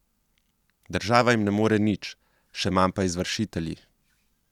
Država jim ne more nič, še manj pa izvršitelji.